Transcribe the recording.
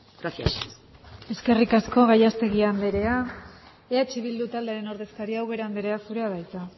gracias eskerrik asko gallastegui anderea eh bildu taldearen ordezkaria ubera andrea zurea da hitza